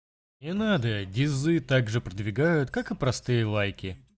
не надо дезы так же продвигают как и простые лайки